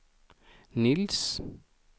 Nils